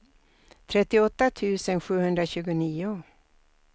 trettioåtta tusen sjuhundratjugonio